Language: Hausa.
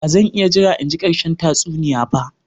Ba zan iya jira in ji ƙarshen tatsuniya ba.